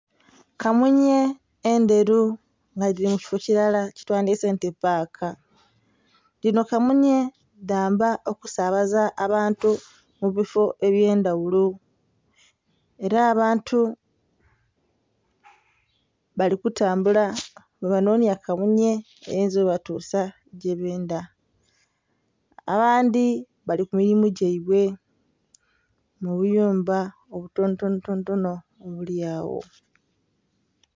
Kamunhye endheru nga dhiri mukifo kirala kyetwandyese nti paaka, dhino kamunhye dhamba okusabaza abantu mubifo ebyendhaghulo era abantu balikutambula bwebanonhya kamunhye eyinza obatusa gyebendha abandhi bali kumirimo gyaibwe mubuyumba obutonotono obulyagho.